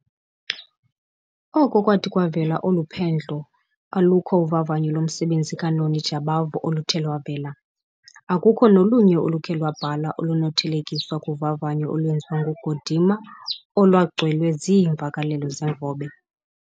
oko kwathi kwavela olu phendlo, alukho uvavanyo lomsebenzi kaNoni Jabavu oluthe lwavela, okukho nolunye olukhe lwabhala olunokuthelekiswa kuvavanyo olwenziwa nguGordimer olwagcwele ziimvakelelo zevobe.